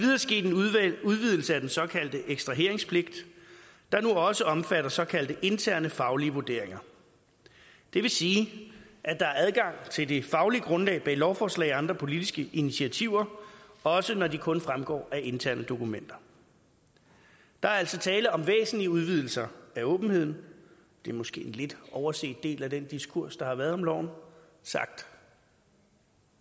udvidelse af den såkaldte ekstraheringspligt der nu også omfatter såkaldte interne faglige vurderinger det vil sige at der er adgang til det faglige grundlag bag lovforslag og andre politiske initiativer også når de kun fremgår af interne dokumenter der er altså tale om væsentlige udvidelser af åbenheden det er måske en lidt overset del af den diskurs der har været om loven sagt